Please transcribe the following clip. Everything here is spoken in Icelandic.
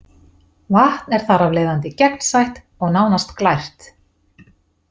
Vatn er þar af leiðandi gegnsætt og nánast glært.